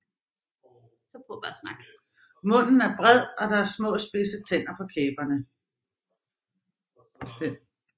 Munden er bred og der er små spidse tænder på kæberne